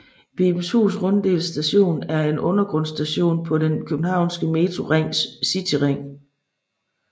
Vibenshus Runddel Station er en undergrundsstation på den københavnske Metros cityring